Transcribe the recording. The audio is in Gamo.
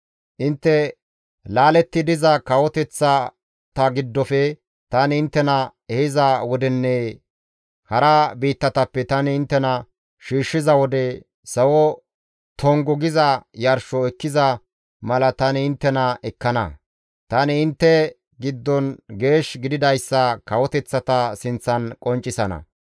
Intte laaletti diza kawoteththa giddofe tani inttena ehiza wodenne hara biittatappe tani inttena shiishshiza wode, sawo tongu giza yarsho ekkiza mala tani inttena ekkana. Tani intte giddon geesh gididayssa kawoteththata sinththan qonccisana.